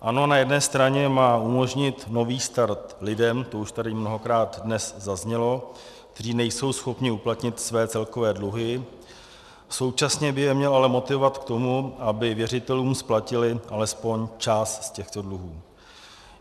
Ano, na jedné straně má umožnit nový start lidem, to už tady mnohokrát dnes zaznělo, kteří nejsou schopni uplatnit své celkové dluhy, současně by je měl ale motivovat k tomu, aby věřitelům splatili alespoň část z těchto dluhů.